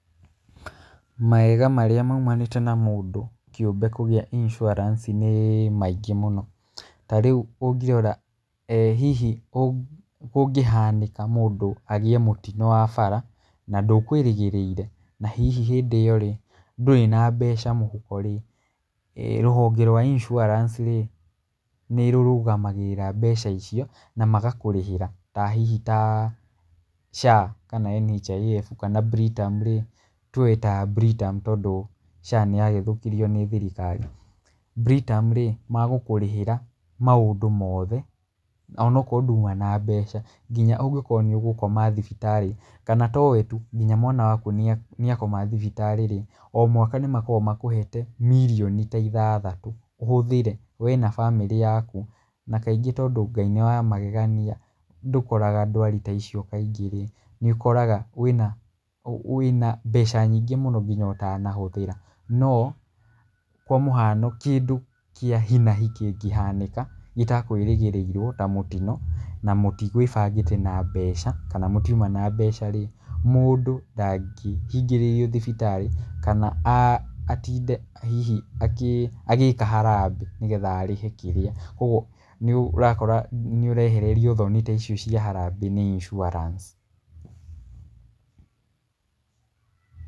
Mawega marĩa maumanĩte na mũndũ kĩũmbe kũgĩa insurance nĩ maingĩ mũno. Ta rĩu ũngĩrora hihi kũngĩhanĩka mũndũ agĩe mũtino wa bara, na ndũkũĩrĩgĩrĩire, na hihi hĩndĩ ĩyo-rĩ, ndũrĩ na mbeca mũhuko-rĩ, rũhonge rwa insurance -rĩ nĩrũrũgamagĩrĩra mbeca icio na magakũrĩhĩra ta hihi ta SHA kana NHIF kana Britam-rĩ, tuge ta Britama, tondũ SHA nĩyagĩthũkirio nĩ thirikari. Britama-rĩ, magũkũrĩhĩra maũndũ moothe onokorwo nduma na mbeca, nginya ũngĩkorwo nĩũgũkoma thibitarĩ kana to wee tu, kinya mwana waku nĩakoma thibitarĩ-rĩ, o mwaka nĩmakoragwo makũhete mirioni ta ithathatũ ũhũthĩre wee na bamĩrĩ yaku. Na kaingĩ tondũ Ngai nĩ wa magegania ndũkoraga ndwari ta icio kaingĩ-rĩ, nĩũkoraga wĩna wĩna mbeca nyingĩ mũno nginya ũtanahũthĩra, no kwa mũhano kĩndũ kĩa hi na hi kĩngĩhanĩka gĩtakwĩrĩgĩrĩirwo ta mũtino, na mũtigwĩbangĩte na mbeca, kana mũtiuma na mbeca-rĩ, mũndũ ndangĩhingĩrĩrio thibitarĩ kana atinde hihi agĩka harambĩ, nĩgetha arĩhe kĩrĩa, koguo nĩũrakora nĩũrehererio thoni ta icio cia harambĩ nĩ insurance.